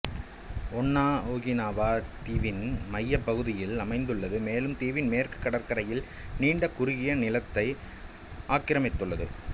ஓன்னா Okinawa தீவின் மையப் பகுதியில் அமைந்துள்ளது மேலும் தீவின் மேற்கு கடற்கரையின் நீண்ட குறுகிய நீளத்தை ஆக்கிரமித்துள்ளது